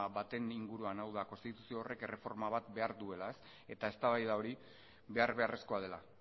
baten inguruan hau da konstituzio horrek erreforma bat behar duela eta eztabaida hori behar beharrezkoa dela